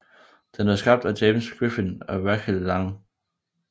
Den er skabt af James Griffin og Rachel lang